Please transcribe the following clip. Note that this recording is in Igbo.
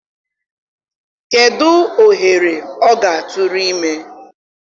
kedụ ohere ọ ga-atụrụ ime?